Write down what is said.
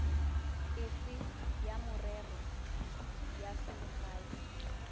efe ya merero ya selegae